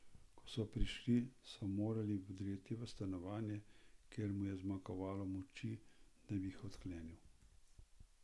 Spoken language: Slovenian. Ko so prišli, so morali vdreti v stanovanje, ker mu je zmanjkalo moči, da bi jih odklenil.